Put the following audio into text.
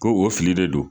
Ko o fili de don